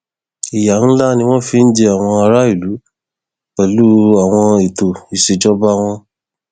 ìyà ńlá ni wọn fi ń jẹ àwọn aráàlú pẹlú àwọn ètò ìṣèjọba wọn